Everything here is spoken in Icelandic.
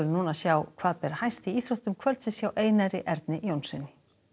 sjá hvað ber hæst í íþróttum kvöldsins hjá Einari Erni Jónssyni